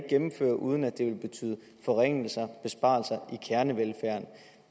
gennemføres uden at det vil betyde forringelser og besparelser af kernevelfærden